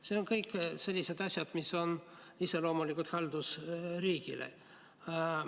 Need on kõik sellised asjad, mis on iseloomulikud haldusriigile.